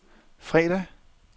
fredag